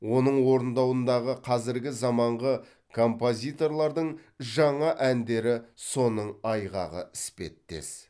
оның орындауындағы қазіргі заманғы композиторлардың жаңа әндері соның айғағы іспеттес